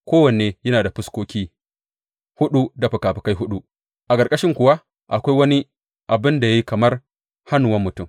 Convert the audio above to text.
Kowanne yana da fuskoki huɗu da fikafikai huɗu, a ƙarƙashin kuwa akwai wani abin da ya yi kamar hannuwan mutum.